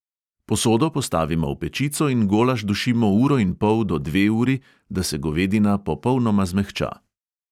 Posodo postavimo v pečico in golaž dušimo uro in pol do dve uri, da se govedina popolnoma zmehča.